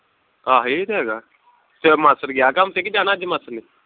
ਆਹ ਇਹ ਤੇ ਹੈਗਾ ਤੇਰਾ ਮਾਸੜ ਗਿਆ ਕੰਮ ਤੇ ਕਿ ਜਾਣਾ ਅਜੇ